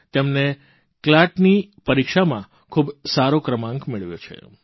તેમને CLATની પરીક્ષામાં ખૂબ સારો ક્રમાંક મેળવ્યો છે